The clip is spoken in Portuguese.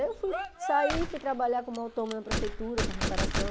Aí eu fui sair, fui trabalhar como autônoma na prefeitura, com restauração.